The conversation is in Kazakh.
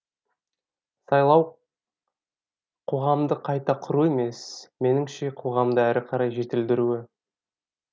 сайлау қоғамды қайта құру емес меніңше қоғамды әрі қарай жетілдіруі